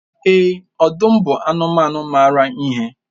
Èè, ọdụm bụ anụmanụ maara ihe.